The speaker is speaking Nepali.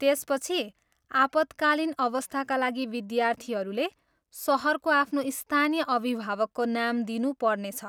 त्यसपछि, आपतकालीन अवस्थाका लागि विद्यार्थीहरूले सहरको आफ्नो स्थानीय अभिभावकको नाम दिनु पर्नेछ।